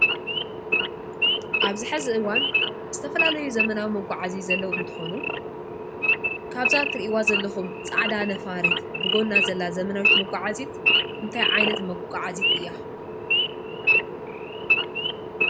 ኣብ ዝሐዚ እእዋን ዝተፈላለዩ ዘመናዊ መጕዓ እዙይ ዘለዉ እንተኾኑ ካብዛትርእይዋ ዘለኹም ፃዕዳ ነፋሬት ብጐና ዘላ ዘመናዊት መጕዓዜት እንታይ ዓይነት መጕጕዓዜት እያ።